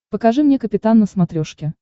покажи мне капитан на смотрешке